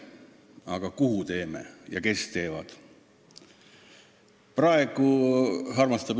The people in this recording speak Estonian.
Aga kuhu me selle teeme ja kes teevad?